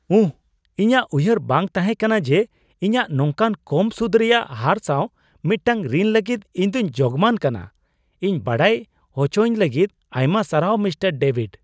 ᱩᱦ ! ᱤᱧᱟᱜ ᱩᱭᱦᱟᱹᱨ ᱵᱟᱝ ᱛᱟᱦᱮᱠᱟᱱᱟ ᱡᱮ ᱤᱧᱟᱜ ᱱᱚᱝᱠᱟᱱ ᱠᱚᱢ ᱥᱩᱫ ᱨᱮᱭᱟᱜ ᱦᱟᱨ ᱥᱟᱣ ᱢᱤᱫᱴᱟᱝ ᱨᱤᱱ ᱞᱟᱹᱜᱤᱫ ᱤᱧ ᱫᱚᱧ ᱡᱳᱜ ᱢᱟᱱ ᱠᱟᱱᱟ ᱾ ᱤᱧ ᱵᱟᱰᱟᱭ ᱚᱪᱚᱭᱤᱧ ᱞᱟᱹᱜᱤᱫ ᱟᱭᱢᱟ ᱥᱟᱨᱦᱟᱣ, ᱢᱤᱥᱴᱟᱨ ᱰᱮᱵᱷᱤᱰ ᱾